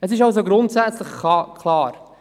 Es ist also grundsätzlich klar: